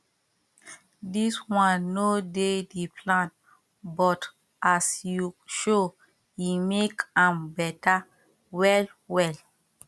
this one no dey the plan but as you show e make am beta well well